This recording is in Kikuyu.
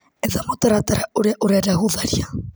Etha mũtaratara ũria ũrenda gũtharia.